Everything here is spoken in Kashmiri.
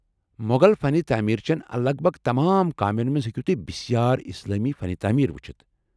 مۄغل فن تعمیر چٮ۪ن لگ بگ تمام کامٮ۪ن منٛز ہیٚکو تہۍ بھارٕ اسلامی فن تعمیر وٗچھِتھ۔